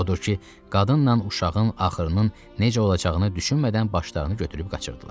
Odur ki, qadınla uşağın axırının necə olacağını düşünmədən başlarını götürüb qaçırdılar.